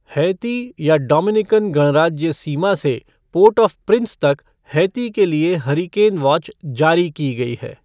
Haiti या Dominican गणराज्य सीमा से पोर्ट ऑ प्रिंस तक हैती के लिए हरिकेन वॉच जारी की गई है।